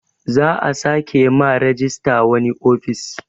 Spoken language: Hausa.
Za a sake ma rejista wani ofis